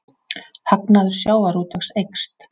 Hagnaður sjávarútvegs eykst